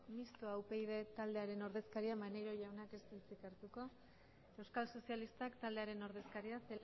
mistoa upyd taldearen ordezkaria maneiro jaunak ez du hitzik hartuko euskal sozialistak taldearen ordezkaria